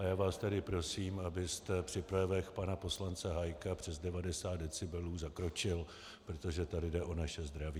A já vás tady prosím, abyste při projevech pana poslance Hájka přes 90 decibelů zakročil, protože tady jde o naše zdraví.